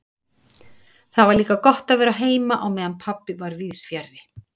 Það var líka gott að vera heima á meðan pabbi var víðs fjarri.